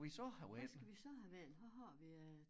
Hvad skal vi så have vendt hvad har vi af